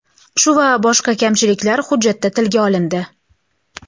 Shu va boshqa kamchiliklar hujjatda tilga olindi.